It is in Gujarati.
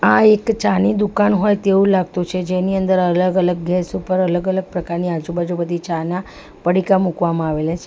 આ એક ચાની દુકાન હોય તેવું લાગતું છે જેની અંદર અલગ-અલગ ગેસ ઉપર અલગ-અલગ પ્રકારની આજુબાજુ બધી ચાના પડીકા મૂકવામાં આવેલા છે.